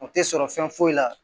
O tɛ sɔrɔ fɛn foyi la